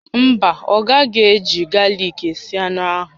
Mba, ọ gaghị eji galik esi anụ ahụ